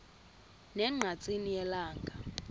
ne ngqatsini yelanga